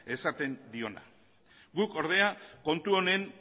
esaten diona guk ordea kontu honen